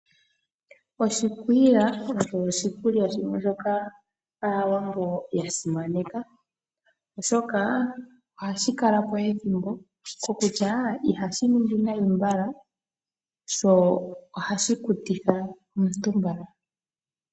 Oshikwiila osho oshikulya shimwe shoka Aawambo ya simaneka, oshoka ohashi kala po ethimbo kokutya ihashi ningi nayi mbala sho ohashi kutitha omuntu mbala.